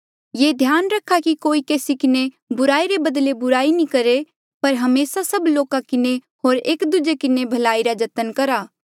येह ध्यान रखा कि कोई केसी किन्हें बुराई रे बदले बुराई नी करहे पर हमेसा सब लोका किन्हें होर एक दूजे किन्हें भलाई करणे रा जतन करहा